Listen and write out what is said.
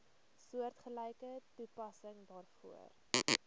soortgelyke toepassing daarvoor